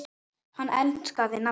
Hann enskaði nafnið